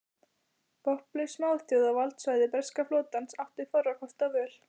Vopnlaus smáþjóð á valdsvæði breska flotans átti fárra kosta völ.